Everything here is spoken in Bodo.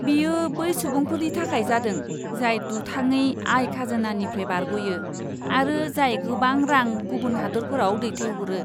बेयो बै सुबुंफोरनि थाखाय जादों, जाय दुथाङै आय खाजोनानिफ्राय बारग'यो आरो जाय गोबां रां गुबुन हादोरफोराव दैथायहरो!